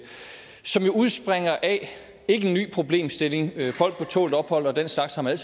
udspringer af en ny problemstilling folk på tålt ophold og den slags har man